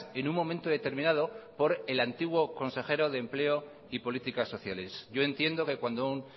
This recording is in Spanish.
en un momento determinado por el antiguo consejero de empleo y políticas sociales yo entiendo que cuando un